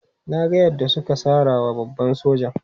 Na ga yadda suka sara wa babban sojan.